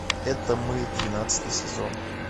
это мы двенадцатый сезон